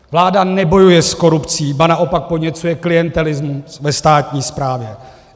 Vláda nebojuje s korupcí, ba naopak podněcuje klientelismus ve státní správě.